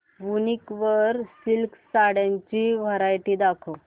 वूनिक वर सिल्क साड्यांची वरायटी दाखव